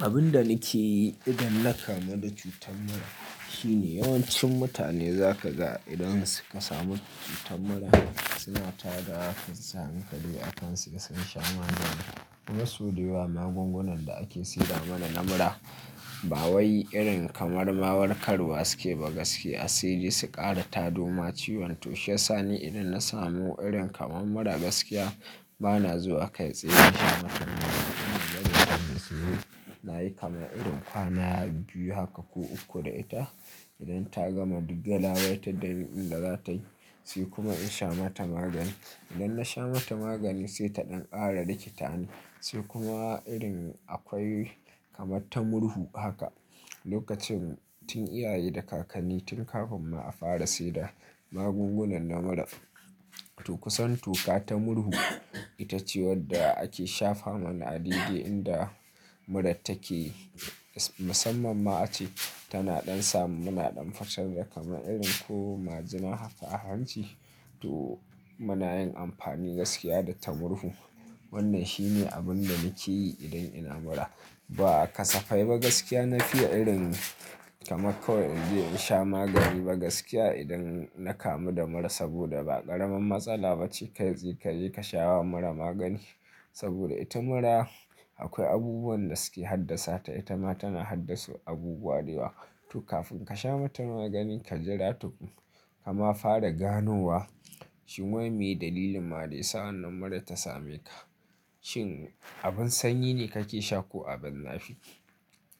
Abin da nake yi idan na kamu da cutar mura shine yawancin mutane zaka ga idan suka samu cutar mura suna tada wa kansu hankali akan suga sun sha magani kuma sau da yawa magungunan da ake saida mana na mura. Ba wai irin kamar warkar wa suke ba gaskiya. Sai dai su ƙara tado ma ciwon. To shi ya sani idan na samu irin kamar mura gaskiya, ba na zuwa kai tsaye in sha magani. Ina zaton zai yi, na yi kamar irin kwana biyu haka ko uku da ita. Idan ta gama, duk galabaitar dani ɗin da za ta yi, sai kuma in sha mata magani. Idan na sha mata magani sai ta ɗan ƙara rikita ni, sai kuma irin akwai kamar ta murhu haka. Lokacin tun iyaye da kakanni tun kafin ma a fara saida magungunan mura. To kusan toka ta murhu ita ce wadda ake shafa mana a daidai inda murar take. Musamman ma ace tana ɗan sa mu na ɗan fitar da kamar irin ko majina haka a hanci. To muna yin amfani gaskiya da ta murhu. Wannan shine abinda nake yi idan ina mura. Ba kasafai ba gaskiya na fiya irin kamar kawai in je in sha magani ba gaskiya idan na kamu da mura sabida ba ƙaramar matsala ba ce kai tsaye ka je ka sha wa mura magani. Sabida ita mura akwai abubuwan da suke haddasa ta, ita ma tana haddasa abubuwa da yawa. To kafin ka sha mata magani ka jira tukun kama fara ganowa. Shin mlwai meye dalilin ma da yasa wannan murar ta same ka. Shin abin sanyi ne kake sha ko abin zafi?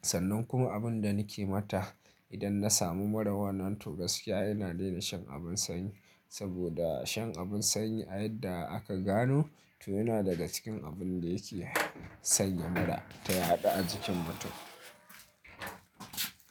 Sannan kuma abinda nake mata idan na samu mura wannan to gaskiya ina daina shan abin sanyi. Sabida shan abin sanyi a yadda aka gano, to yana daga cikin abunda yake sanya mura ta yaɗu a jikin mutum.